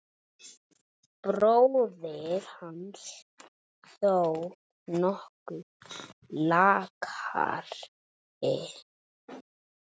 Bróðir hans þó nokkuð lakari.